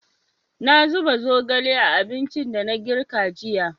Na zuba zogale a abincin da na girka jiya.